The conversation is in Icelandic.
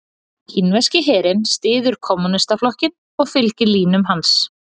Kínverski herinn styður Kommúnistaflokkinn og fylgir línum hans.